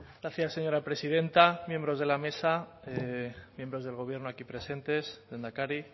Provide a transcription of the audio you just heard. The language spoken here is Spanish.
gracias señora presidenta miembros de la mesa miembros del gobierno aquí presentes lehendakari